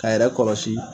K'a yɛrɛ kɔlɔsi